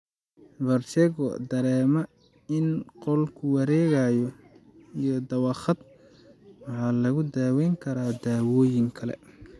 Vertigo (dareema in qolku wareegayo) iyo dawakhaad waxaa lagu daweyn karaa daawooyin kale.